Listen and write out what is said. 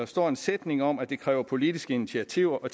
står en sætning om at det kræver politiske initiativer